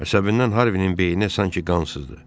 Əsəbindən Harvinin beyni sanki qansızdı.